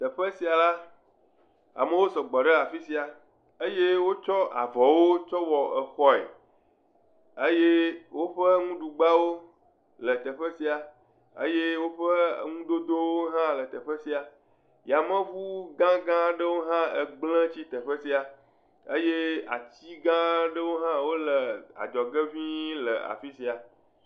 Teƒe sia la, amewo sɔgbɔ ɖe afi sia eye wotsɔ avɔwo tsɔ wɔ xɔe eye woƒe nuɖugbawo le teƒe sia eye woƒe nudodowo hã le teƒe sia. Yameŋu gãga aɖewo hã gblẽ tsi teƒe sia eye ati gã aɖewo hã wole adzɔge ŋii.